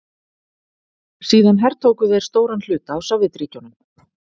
Síðan hertóku þeir stóran hluta af Sovétríkjunum.